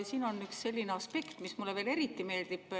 Siin on üks selline aspekt, mis mulle veel eriti meeldib.